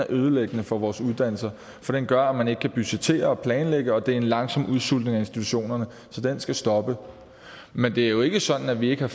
ødelæggende for vores uddannelser for den gør at man ikke kan budgettere og planlægge og det er en langsom udsultning af institutionerne så det skal stoppe men det er jo ikke sådan at vi ikke